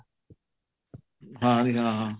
ਹਾਂਜੀ ਹਾਂ